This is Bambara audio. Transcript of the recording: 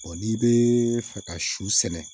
n'i bɛ fɛ ka su sɛnɛ